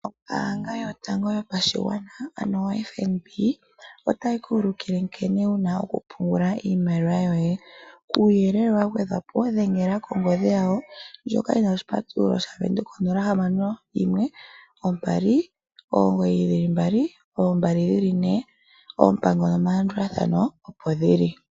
Ombaanga yotango yopashigwana ano oFNB, otayi ku ulukile nkene wuna okupungula iimaliwa shoye. Kuuyelele wagwedhwapo, dhengela kongodhi yawo, ndjoka yina oshipatululo shavenduka 0612992222, oompango nomalandulathano opo dhili.